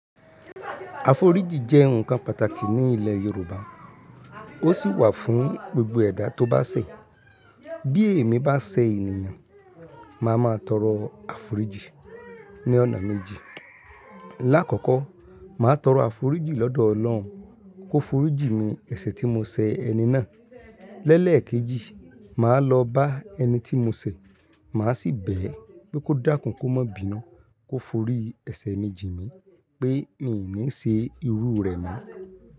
Aforiji jẹ́ ǹkan pàtàkì ní ilẹ̀ Yorùbá ó sì wà fún gbogbo ẹ̀dá tó bá sin. Bí èmi bá ṣẹ̀ ènìyàn, màá máa tọrọ àforíjì ní ọ̀nà méjì. Láàkọ́kọ́, màá tọrọ àforíjì lọ́dọ̀ Ọlọ́run kó foríjì mi ẹ̀ṣẹ̀ tí mo ṣẹ̀ ẹni náà. Lẹ́lẹ́ kejì, màá lọ bá ẹni tí mo ṣẹ̀, màá sì bẹ̀ ẹ́ pé kó dakun kó má bínu, kó forí ẹ̀ṣẹ̀ mi jìmi pé mi ò ní ṣe irú rẹ̀ mọ́